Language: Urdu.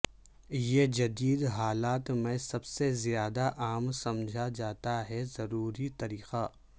یہ جدید حالات میں سب سے زیادہ عام سمجھا جاتا ہے ضروری طریقہ